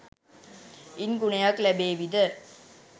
ඉන් ගුණයක් ලැබේවිද?